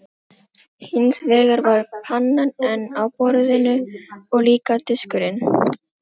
Hins vegar var pannan enn á borðinu og líka diskurinn.